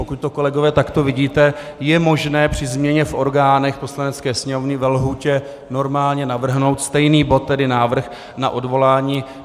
Pokud to, kolegové, takto vidíte, je možné při změně v orgánech Poslanecké sněmovny ve lhůtě normálně navrhnout stejný bod, tedy návrh na odvolání.